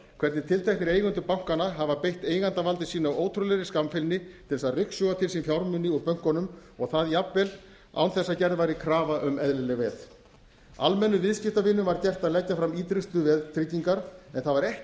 hvernig tilteknir eigendur bankanna hafa beitt eigandavaldi sínu af ótrúlegri óskammfeilni til að ryksuga til sín fjármuni úr bönkunum og það jafnvel án þess að gerð væri krafa um eðlileg veð almennum viðskiptavinum var gert að leggja fram ýtrustu veðtryggingar en það var ekki